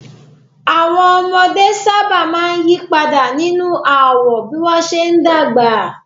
Àwọn ọmọdé sábà máa ń yí padà nínú àwọ̀ bí wọ́n ṣe ń dàgbà